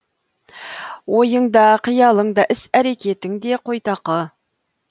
ойың да қиялың да іс әрекетің де қойтақы